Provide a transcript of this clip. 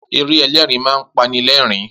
Eré ẹlẹ́rin máa ń pani lẹ́ẹ̀rin